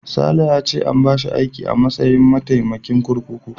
Sale ya ce an bashi aiki a matsayin mataimakin kurkuku.